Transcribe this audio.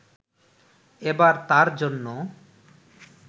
এবার তাঁর জন্য